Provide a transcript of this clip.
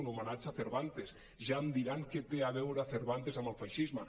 un homenatge a cervantes ja em diran què té a veure cervantes amb el feixisme